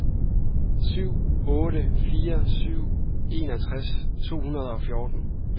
syv otte fire syv enogtres to hundrede og fjorten